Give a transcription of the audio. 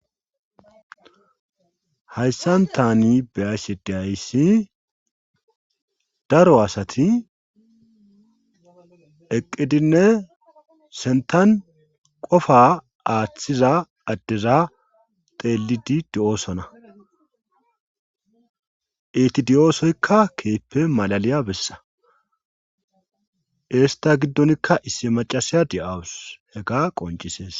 hayssan tani beayssedeayssi daro asati eqqidinne sentan qofa aaththiza addeza teelidi di7oosona etidi7oosoykka keeppe malaliya bessa esta giddonkka issi macasiya di7awus hega qoncisees